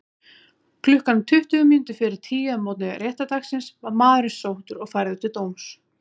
Klukkan tuttugu mínútur fyrir tíu að morgni réttardagsins var maðurinn sóttur og færður til dóms.